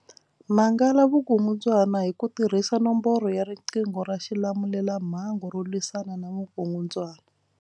Mangala vukungundzwana hi ku tirhisa nomboro ya riqingho ra xilamulelamhangu ro lwisana na vukungundzwana.